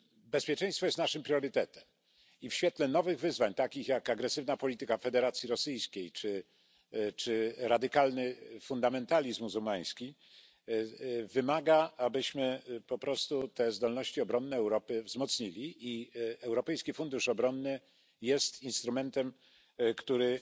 Bezpieczeństwo jest naszym priorytetem i w świetle nowych wyzwań, takich jak agresywna polityka Federacji Rosyjskiej czy radykalny fundamentalizmu muzułmański, wymaga, abyśmy te zdolności obronne Europy wzmocnili, a Europejski Fundusz Obronny jest instrumentem, który